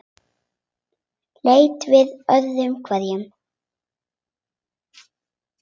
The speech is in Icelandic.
Leit við öðru hverju.